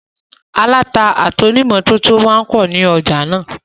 Aláta àti ònítòmátò máa n pọ̀ ní ọjà náà